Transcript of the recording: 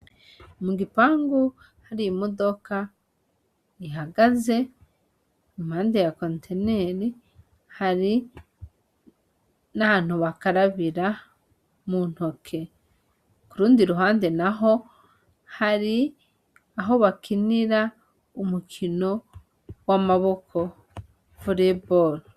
Mu gipangu hari i modoka ihagaze impande ya konteneri hari n'ahantu bakarabira mu ntoke ku rundi ruhande na ho hari aho bakinira umukinowae amaboko vuleeboli.